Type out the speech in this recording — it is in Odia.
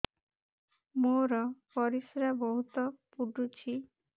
ମୋର ପରିସ୍ରା ବହୁତ ପୁଡୁଚି